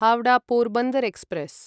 Howrah Porbandar express